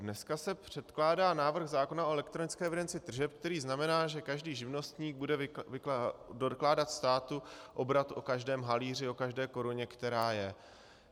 Dneska se předkládá návrh zákona o elektronické evidenci tržeb, který znamená, že každý živnostník bude dokládat státu obrat o každém halíři, o každé koruně, která je.